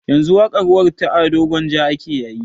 Yanzu waƙar warr ta ado gwanja ake yayi